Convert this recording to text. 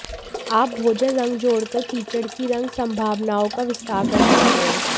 आप भोजन रंग जोड़कर कीचड़ की रंग संभावनाओं का विस्तार कर सकते हैं